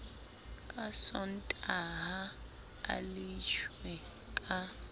ka sontaha a leshwe ka